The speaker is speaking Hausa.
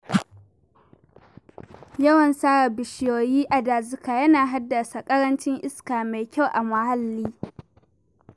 Yawan sare bishiyoyi a dazuka yana haddasa ƙarancin iska mai kyau a muhalli.